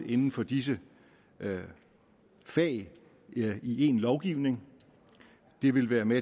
inden for disse fag i én lovgivning det vil være med